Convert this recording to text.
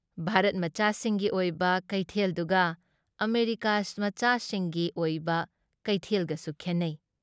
ꯚꯥꯔꯠꯃꯆꯥꯁꯤꯡꯒꯤ ꯑꯣꯏꯕ ꯀꯩꯊꯦꯜꯗꯨꯒ ꯑꯃꯦꯔꯤꯀꯥꯃꯆꯥꯁꯤꯡꯒꯤ ꯑꯣꯏꯕ ꯀꯩꯊꯦꯜꯒꯁꯨ ꯈꯦꯟꯅꯩ ꯫